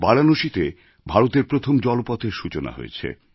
বারাণসীতে ভারতের প্রথম জলপথের সূচনা হয়েছে